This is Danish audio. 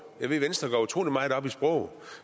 jeg ved at venstre går utrolig meget op i sproget